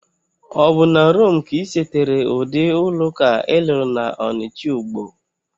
Obu na Rome ka isetere udi ulo-uka ilulu na Onitcha-Ugbo?